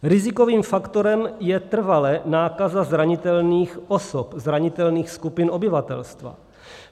Rizikovým faktorem je trvale nákaza zranitelných osob, zranitelných skupin obyvatelstva.